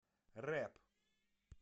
рэп